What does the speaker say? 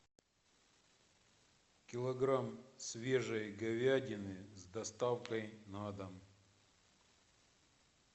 килограмм свежей говядины с доставкой на дом